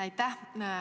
Aitäh!